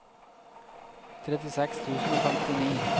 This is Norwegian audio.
trettiseks tusen og femtini